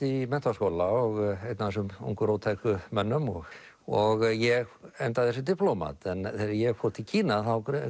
í menntaskóla og einn af þessum ungu róttæku mönnum og og ég endaði sem diplómat en þegar ég fór til Kína